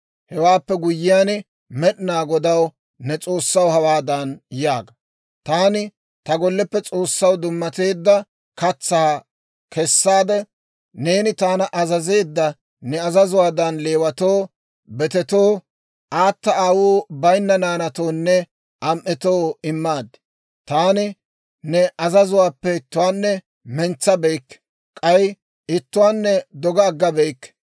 Hewaappe guyyiyaan Med'inaa Godaw, ne S'oossaw, hawaadan yaaga; ‹Taani ta golleppe S'oossaw dummateedda katsaa kessaade, neeni taana azazeedda ne azazuwaadan Leewatoo, betetoo, aata aawuu bayinna naanatoonne am"etoo immaad. Taani ne azazuwaappe ittuwaanne mentsabeykke; k'ay ittuwaanne doga aggabeyikke.